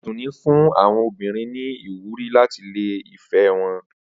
Adunni fún àwọn obìnrin ní ìwúrí láti lé ìfẹ́ wọn.